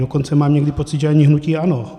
Dokonce mám někdy pocit, že ani hnutí ANO.